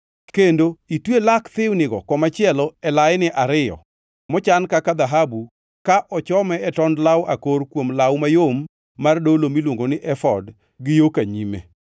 kendo itwe lak thiwnigo komachielo e laini ariyo mochan kaka dhahabu ka ochome e tond law akor kuom law mayom mar dolo miluongo ni efod gi yo ka nyime.